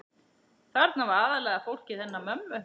Þarna var aðallega fólkið hennar mömmu.